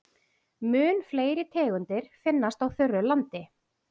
Mun fleiri tegundir finnast á þurru landi.